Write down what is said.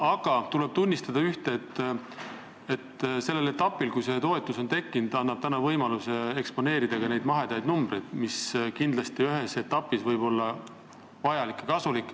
Ühte tuleb siiski tunnistada: see, et see toetus on tekkinud, annab võimaluse eksponeerida n-ö mahedaid numbreid, mis võib ühes etapis olla vajalik ja kasulik.